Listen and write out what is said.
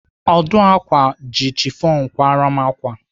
Ọdụ ákwà ji chifọn kwara m ákwà.